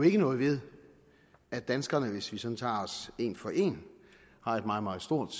ikke noget ved at danskerne hvis vi sådan tager os en for en har et meget meget stort